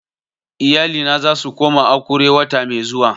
Iyalina za su koma Akure wata mai zuwa